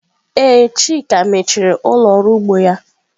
Ee, chika mechiri ụlọ ọrụ ugbo ya.